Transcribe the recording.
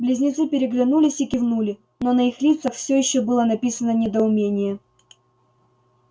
близнецы переглянулись и кивнули но на их лицах всё ещё было написано недоумение